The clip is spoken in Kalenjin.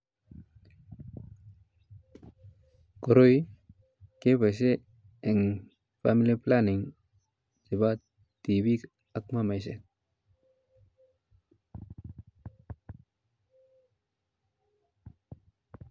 Koroi keboishen en family planning nebo tibiik ak mamaishek.